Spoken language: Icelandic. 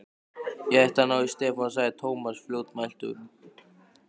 Ég ætti að ná í Stefán sagði Thomas fljótmæltur.